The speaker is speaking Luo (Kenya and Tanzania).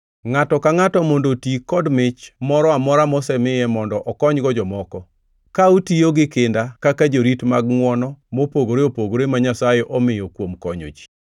Ngʼato ka ngʼato mondo oti kod mich moro amora mosemiye mondo okonygo jomoko. Ka utiyo gi kinda kaka jorit mag ngʼwono mopogore opogore ma Nyasaye omiyo kuom konyo ji.